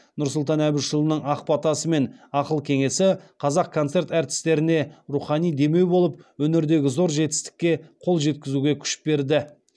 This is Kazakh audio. нұрсұлтан әбішұлының ақ батасы мен ақыл кеңесі қазақконцерт әртістеріне рухани демеу болып өнердегі зор жетістікке қол жеткізуге күш берді